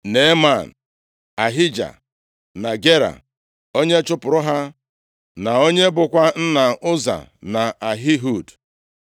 Neeman, Ahija na Gera, onye chụpụrụ ha na onye bụkwa nna Ụza na Ahihud.